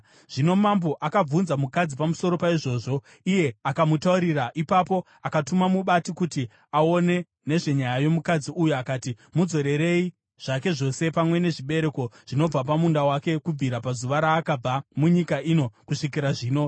Zvino mambo akabvunza mukadzi pamusoro paizvozvo, iye akamutaurira. Ipapo akatuma mubati kuti aone nezvenyaya yomukadzi uyu akati, “Mudzorerei zvake zvose pamwe nezvibereko zvinobva pamunda wake kubvira pazuva raakabva munyika ino kusvikira zvino.”